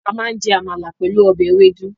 A máa jẹ amala pẹ̀lú ọbẹ̀ ewédú.